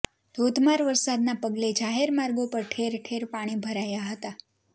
ધોધમાર વરસાદના પગલે જાહેર માર્ગો પર ઠેરઠેર પાણી ભરાયા હતા